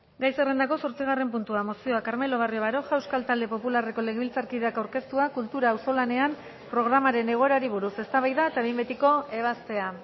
gai zerrendako zortzigarren puntua mozioa carmelo barrio baroja euskal talde popularreko legebiltzarkideak aurkeztua kultura auzolanean programaren egoerari buruz eztabaida eta behin betiko ebazpena